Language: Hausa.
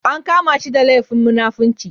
An kama shi da laifin munafinci.